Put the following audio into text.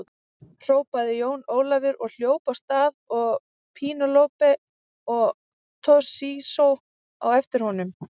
Hrópaði Jón Ólafur og hljóp af stað og Penélope og Toshizo á eftir honum.